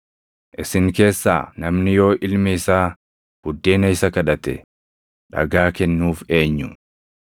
“Isin keessaa namni yoo ilmi isaa buddeena isa kadhate, dhagaa kennuuf eenyu?